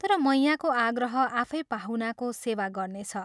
तर मैयाँको आग्रह आफै पाहुनाको सेवा गर्नेछ।